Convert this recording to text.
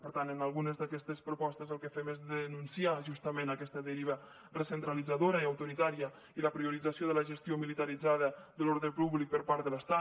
per tant en algunes d’aquestes propostes el que fem és denunciar justament aquesta deriva recentralitzadora i autoritària i la priorització de la gestió militaritzada de l’ordre públic per part de l’estat